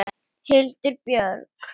Hildur Björg.